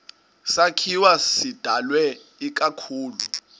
sakhiwo sidalwe ikakhulu